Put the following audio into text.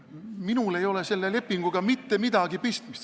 Minul ei ole selle lepinguga mitte midagi pistmist.